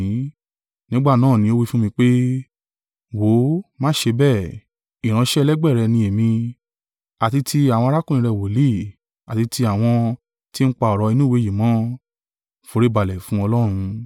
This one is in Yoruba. Nígbà náà ni ó wí fún mi pé, “Wó ò, má ṣe bẹ́ẹ̀, ìránṣẹ́ ẹlẹgbẹ́ rẹ ni èmi, àti ti àwọn arákùnrin rẹ̀ wòlíì, àti ti àwọn tí ń pa ọ̀rọ̀ inú ìwé yìí mọ́. Foríbalẹ̀ fún Ọlọ́run!”